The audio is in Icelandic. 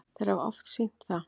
Þeir hafa oft sýnt það.